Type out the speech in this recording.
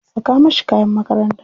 Saka mashi kayan makaranta.